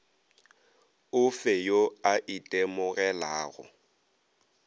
o fe yo a itemogelago